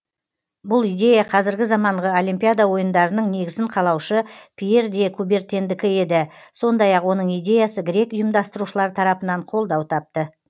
бұл идея қазіргі заманғы олимпиада ойындарының негізін қалаушы пьер де кубертендікі еді сондай ақ оның идеясы грек ұйымдастырушылар тарапынан қолдау тапты